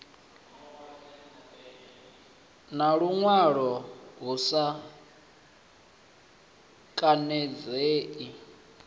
na luṅwalo hu sa khanadzei